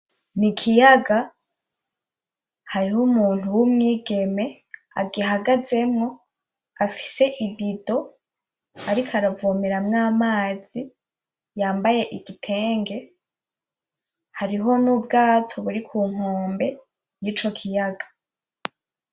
N'ikiyaga hariho umuntu w'umwigeme agihagazemwo afise ibido ariko aravomeramwo amazi yambaye igitenge hariho n'ubwato buri kunkombe yico kiyaga.